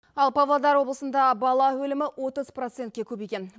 ал павлодар облысында бала өлімі отыз процентке көбейген